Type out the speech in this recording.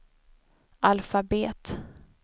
alfabet